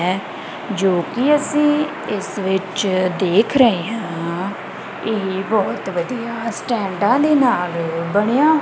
ਏਹ ਜੋ ਕਿ ਅਸੀਂ ਇਸ ਵਿੱਚ ਦੇਖ ਰਹੇ ਹਾਂ ਇਹ ਬਹੁਤ ਵਧੀਆ ਸਟੈਂਡਾਂ ਦੇ ਨਾਲ ਬਣਿਆ।